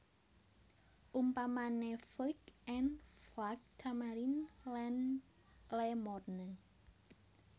Umpamané Flic en Flac Tamarin lan Le Morne